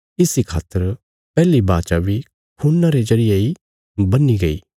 इस इ खातर पैहली वाचा बी खून्ना रे जरिये इ बन्ही गई